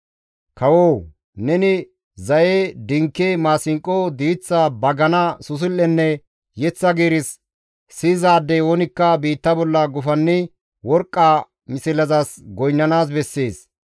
Kawoo! Neni, ‹Zaye, dinke, maasinqo, diiththa, bagana, susul7enne yeththa giiris siyizaadey oonikka biitta bolla gufannidi worqqa mislezas goynnanaas bessees.